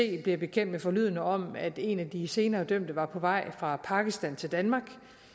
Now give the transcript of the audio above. bliver bekendt med forlydender om at en af de senere dømte var på vej fra pakistan til danmark